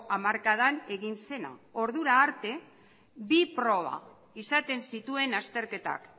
hamarkadan egin zena ordura arte bi proba izaten zituen azterketak